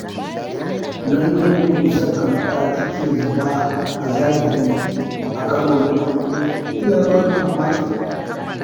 Ganin yadda dusar ƙanƙara take zuba a zahiri a karo na farko ya bani mamaki.